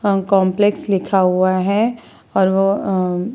अ complex लिखा हुआ है और वो --